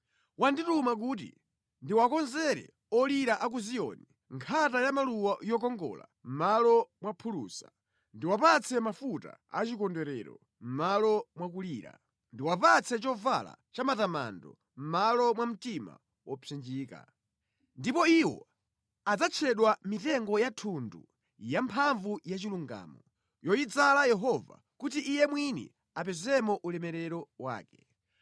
Wandituma kuti ndiwakonzere olira a ku Ziyoni, nkhata ya maluwa yokongola mʼmalo mwa phulusa, ndiwapatse mafuta achikondwerero mʼmalo mwa kulira. Ndiwapatse chovala cha matamando mʼmalo mwa mtima wopsinjika. Ndipo iwo adzatchedwa mitengo ya thundu yamphamvu yachilungamo, yoyidzala Yehova kuti Iye mwini apezemo ulemerero wake.